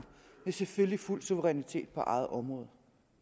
selvfølgelig med fuld suverænitet på eget område